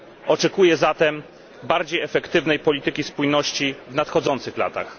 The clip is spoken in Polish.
Oczekuję zatem bardziej efektywnej polityki spójności w nadchodzących latach.